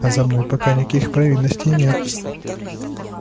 а за мной пока никаких провинностей нет